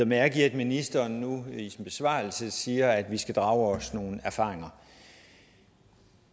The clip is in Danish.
mærke i at ministeren nu i sin besvarelse siger at vi skal drage nogle erfaringer